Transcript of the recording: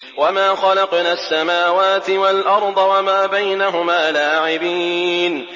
وَمَا خَلَقْنَا السَّمَاوَاتِ وَالْأَرْضَ وَمَا بَيْنَهُمَا لَاعِبِينَ